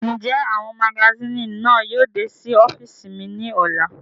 Njẹ awọn magasini náa yóò de si ọfiisi mi ni ọla?